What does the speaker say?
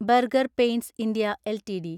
burger paints India LTD